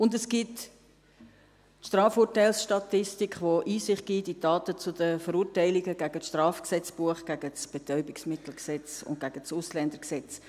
und es gibt die Strafurteilsstatistik, die Einsicht gibt in die Daten zu den Verurteilungen gegen das StGB, gegen das BetmG und gegen das AIG.